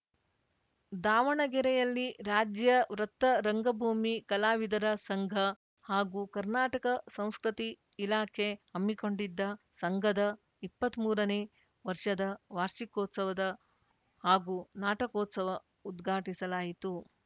ದಾವಣಗೆರೆಯಲ್ಲಿ ರಾಜ್ಯ ವೃತ್ತ ರಂಗಭೂಮಿ ಕಲಾವಿದರ ಸಂಘ ಹಾಗೂ ಕರ್ನಾಟಕ ಸಂಸ್ಕೃತಿ ಇಲಾಖೆ ಹಮ್ಮಿಕೊಂಡಿದ್ದ ಸಂಘದ ಎಪ್ಪತ್ಮೂರನೇ ವರ್ಷದ ವಾರ್ಷಿಕೋತ್ಸವ ಹಾಗೂ ನಾಟಕೋತ್ಸವ ಉದ್ಘಾಟಿಸಲಾಯಿತು